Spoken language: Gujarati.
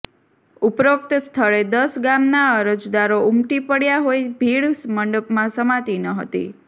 ઉપરોક્ત સ્થળે દસ ગામના અરજદારો ઉમટી પડયા હોય ભીડ મંડપમાં સમાતી નહતી